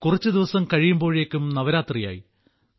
കുറച്ചു ദിവസം കഴിയുമ്പോഴേക്കും നവരാത്രിയായി